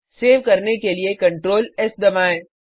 save करने के लिए Ctrl एस दबाएँ